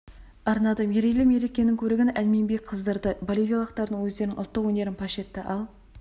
арнады мерейлі мерекенің көрігін ән мен би қыздырды боливиялықтар өздерінің ұлттық өнерін паш етті ал